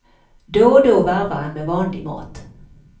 Då och då varvar han med vanlig mat.